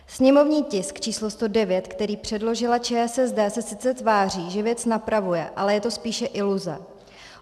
Sněmovní tisk č. 109, který předložila ČSSD, se sice tváří, že věc napravuje, ale je to spíše iluze.